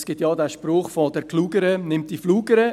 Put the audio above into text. Es gibt auch den Spruch «der Klugere nimmt die Flugere».